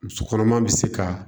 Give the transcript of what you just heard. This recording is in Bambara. Muso kɔnɔma be se ka